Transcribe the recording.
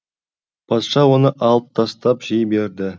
патша оны алып тастап жей берді